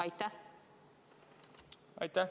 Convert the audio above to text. Aitäh!